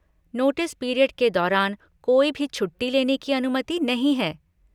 Notice period के दौरान कोई भी छुट्टी लेने की अनुमति नहीं है।